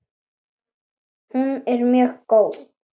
Hún er mjög góð.